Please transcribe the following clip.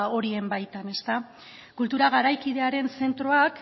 horien baitan kultura garaikidearen zentroak